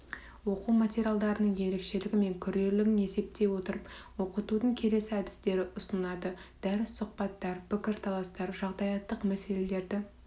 оқу материалдарының ерекшелігі мен күрделілігін есептей отырып оқытудың келесі әдістері ұсынылады дәріс сұхбаттар пікірталастар жағдаяттық мәселелерді